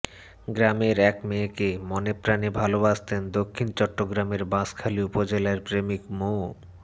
গ্রামের এক মেয়েকে মনেপ্রাণে ভালোবাসতেন দক্ষিণ চট্টগ্রামের বাঁশখালী উপজেলার প্রেমিক মো